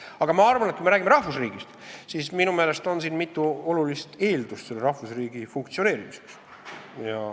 Aga ma arvan, et kui me räägime rahvusriigist, siis minu meelest on mitu olulist eeldust selle funktsioneerimiseks.